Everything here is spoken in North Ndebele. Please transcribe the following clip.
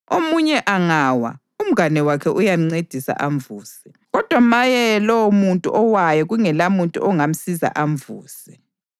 Omunye angawa, umngane wakhe uyamncedisa amvuse. Kodwa maye lowomuntu owayo kungelamuntu ongamsiza amvuse!